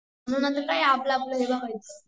म्हणून आता काय आपलं आपलं हे बघायच